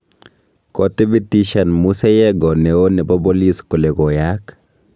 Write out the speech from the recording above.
Kotibitishan Musa yego neo nebo bolis kole koyaak